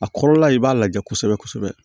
A kɔrɔla i b'a lajɛ kosɛbɛ kosɛbɛ